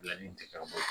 Bila ni jago